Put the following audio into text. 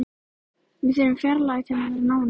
Við þurfum fjarlægð til að vera nánir.